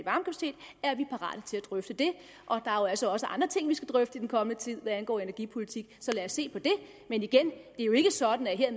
drøfte det der er jo altså også andre ting vi skal drøfte i den kommende tid hvad angår energipolitik så lad os se på det men igen det er jo ikke sådan at jeg